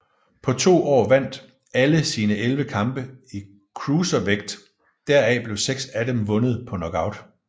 På to år vandt alle sine 11 kampe i cruiservægt deraf blev seks af dem vundet på knockout